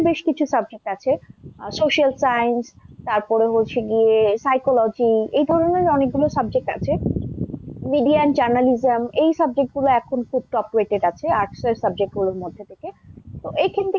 বেশকিছু subject আছে social science তারপরে হচ্ছে গিয়ে psychology এই ধরনের অনেকগুলো subject আছে। media and journalism এই subject গুলো এখব খুব top rated আছে arts এর subject গুলোর মধ্যে থেকে। তো এইখান থেকে,